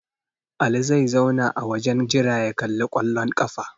Ali zai tsaya a wajen jira ya kalli ƙwallon ƙafa.